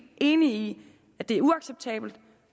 enige i at det er uacceptabelt